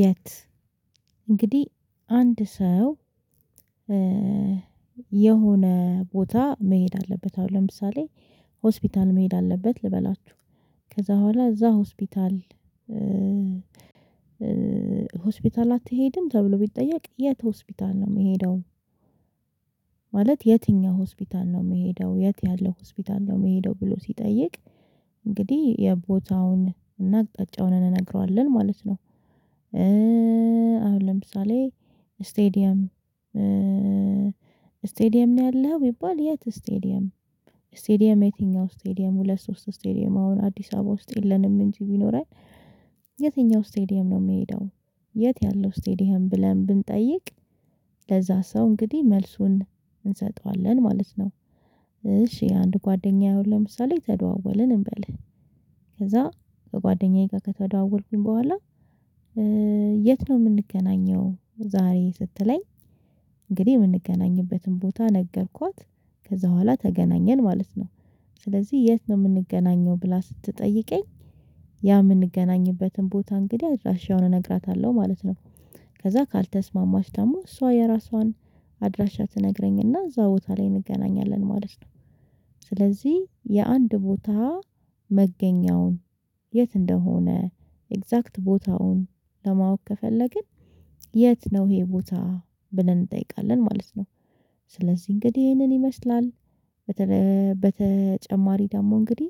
የት? እንግዲህ አንድ ሰው የሆነ ቦታ መሄድ አለበት አሁን ለምሳሌ ሆስፒታል መሄድ አለበት ልበላችሁ ከዛ በኋላ እዛ ሆስፒታል ሆስፒታል አትሄድም ተብሎ ቢጠየቅ የት ሆስፒታል ነው የምሄደው? ማለት የትኛው ሆስፒታል ነው የምሄደው የት ያለውጰሆስፒታል ነው የምሄደው ብሎ ሲጠይቅ እንግዲህ የቦታውን እና አቅጣጫውን እንነግረዋለን ማለት ነው። አሁን ለምሳሌ ስቴዲየም ስቴዲየም ነው ያለሀው ቢባል የት ስቴዲየም ስቴዲየም የትኛው ስቴዲየም ሁለት ሶስት ስቴዲየም አሁን አዲስ አበባ ውስጥ የለንም እንጂ ቢኖረኝ የትኛው ስቴዲየም ነው የምሄደው? የት ያለው ስቴዲየም ብለን ብንጠይቅ ለዛ ሰው እንግዲህ መልሱን እንሰጠዋለን ማለት ነው። እሺ አንድ ጓደኛዬ አሁን ለምሳሌ ተደዋወልን እንበል ከዛ ከጓደኛዬ ጋር ከተደዋወልኩኝ በኋላ የት ነው የምንገናኘው? ዛሬ ስትለኝ እንግዲህ የምንገናኝበትን ቦታ ነገርኳት ከዛ በኋላ ተገናኘን ማለት ነው። ስለዚህ የት ነው የምንገናኘው ብላ ስትጠይቀኝ? ያ የምንገናኝበትን ቦታ እንግዲህ አድራሻውን እነግራታለሁ ማለት ነው። ከዛ ካልተስማማች ደግሞ እሷ የራሷን አድራሻ ትነግረኝና እዛ ቦታ ላይ እንገናኛለን ማለት ነው። ስለዚህ የአንድ ቦታ መገኛውን የት እንደሆነ ኤግዛክት ቦታውን ለማወቅ ከፈለግን የት ነው ይሄ ቦታ ብለን እንጠይቃለን። ማለት ነው ስለዚህ እንግዲህ ይሄንን ይመስላል። በተጨማሪ ደግሞ እንግዲህ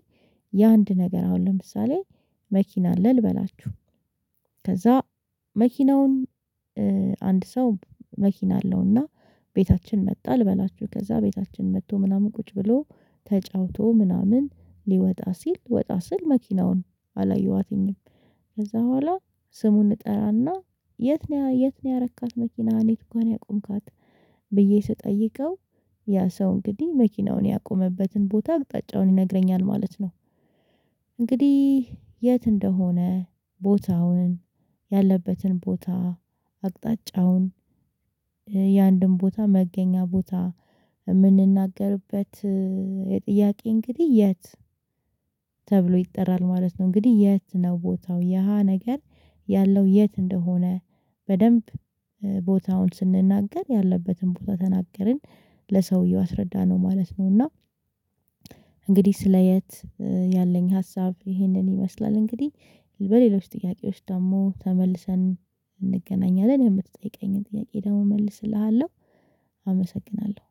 የአንድ ነገር አሁን ለምሳሌ መኪና አለ ልበላችሁ ከዛ መኪናውን አንድ ሰው መኪና አለውና ቤታችን መጣ ልበላችሁ ከዛ ቤታችን መጥቶ ምናምን ቁጭ ብሎ ተጫውቶ ምናምን ሊወጣ ሲል ወጣ ስል መኪናውን አላየኋትኝም። ከዛ በኋላ ስሙን እጠራና የት ነው የት ነው ያረካት መኪና የቱጋ ነው ያቆምካት? ብዬ ስጠይቀው ያ ሰው እንግዲህ መኪናውን ያቆመበትን ቦታ አቅጣጫውን ይነግረኛል ማለት ነው። እንግዲህ የት እንደሆነ ቦታውን ያለበትን ቦታ አቅጣጫውን የአንድም ቦታ መገኛ ቦታ የምንናገርበት የጥያቄ እንግዲህ የት ይጠራል ማለት ነው። እንግዲህ የት ነው ቦታው የሃ ነገር ያለው የት እንደሆነ? በደንብ ቦታውን ስንናገር ያለበትን ቦታ ተናገርን ለሰውየው አስረዳነው ማለት ነው። እና እንግዲህ ስለ የት ያለኝ ሀሳብ ይህንን ይመስላል። እንግዲህ በሌሎች ጥያቄዎች ደግሞ ተመልሰን እንገናኛለን የምትጠይቀኝን ጥያቄ ደግሞ እመልስልሃለሁ አመሰግናለሁ።